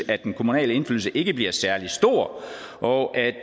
at den kommunale indflydelse ikke bliver særlig stor og at